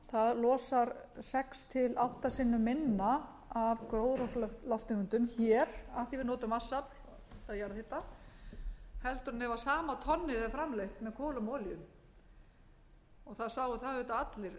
tonn losar sex til átta sinnum menga af gróðurhúsalofttegundum hér af því að við notum vatnsafl eða jarðhita heldur en ef sama tonnið er framleitt með kolum og olíu það sáu það auðvitað allri